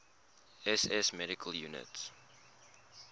ss medical units